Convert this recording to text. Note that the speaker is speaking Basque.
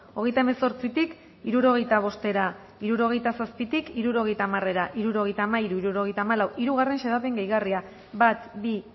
hogeita hemezortzitik hirurogeita bostera hirurogeita zazpitik hirurogeita hamarera hirurogeita hamairu hirurogeita hamalau hirugarren xedapen gehigarria bat bi